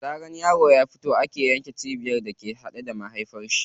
Da zaran yaro ya fito ake yanke cibiyar da ke haɗe da mahaifiyar shi.